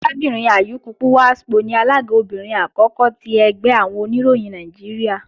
Arábìnrin Ayuku Pwaspo ni alága obìnrin àkọ́kọ́ ti ẹgbẹ́ àwọn Oníròyìn Nàìjíríà